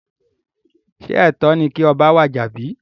Sé ètó ni kí oba wàjà bí?